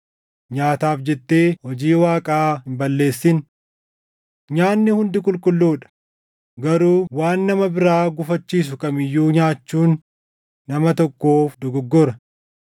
Nyaataaf jettee hojii Waaqaa hin balleessin. Nyaanni hundi qulqulluu dha; garuu waan nama biraa gufachiisu kam iyyuu nyaachuun nama tokkoof dogoggora.